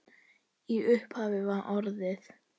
Í upphafi var orðið.